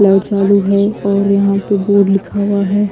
Light चालू है और यहां पे बोर्ड लिखा हुआ है।